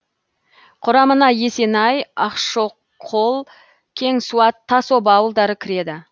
құрамына есенсай ақшкол кеңсуат тасоба ауылдары кіреді